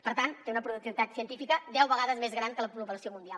per tant té una productivitat científica deu vegades més gran que la població mundial